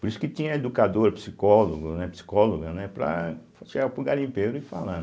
Por isso que tinha educador, psicólogo, né, psicóloga, né, para chegar para o garimpeiro e falar.